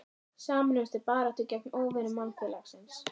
Sameinumst til baráttu gegn óvinum mannfélagsins.